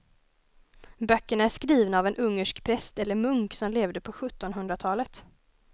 Böckerna är skrivna av en ungersk präst eller munk som levde på sjuttonhundratalet.